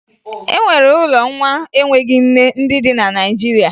E nwere ụlọ nwa enweghi nne ndị dị na Naịjirịa